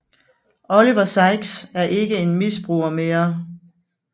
Oliver Sykes er ikke en misbruger mere